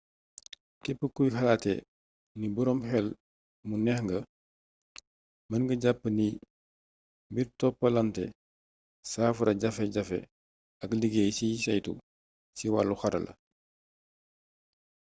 képp kuy xalaatee nii boroom xel mu neex nga mën nga jàpp niy mbir toppalantee saafara jafe-jafe ak liggéey ciy saytu ci wàllu xarala